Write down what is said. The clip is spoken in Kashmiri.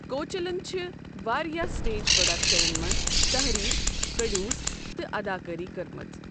کوچلنَن چھِ واریٛاہ سٹیج پروڈکشنَن منٛز تحریر، پروڈیوس تہٕ اداکٲری کٔرمٕژ۔